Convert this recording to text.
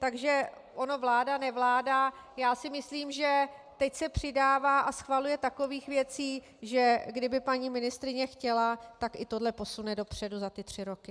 Takže ono vláda-nevláda, já si myslím, že teď se přidává a schvaluje takových věcí, že kdyby paní ministryně chtěla, tak i tohle posune dopředu za ty tři roky.